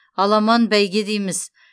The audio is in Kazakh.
аламан бәйге дейміз